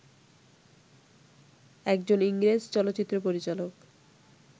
একজন ইংরেজ চলচ্চিত্র পরিচালক